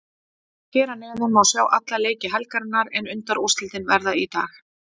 Hér að neðan má sjá alla leiki helgarinnar en undanúrslitin verða í dag.